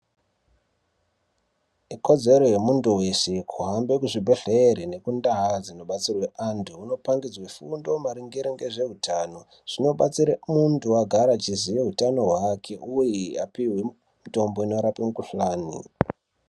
Ikodzero yemuntu veshe kuhambe kuzvibhedhlere nekundaa dzinobatsirwe antu. Vonopangidzwe fundo maringe ngezveutano zvinobatsire muntu kuti agare achiziya utano hwake, uye apihwe mutombo unorape mukuhlani.